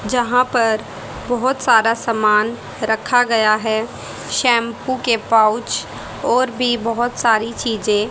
जहां पर बहोत सारा समान रखा गया है शैम्पू के पाउच और भी बहोत सारी चीजें--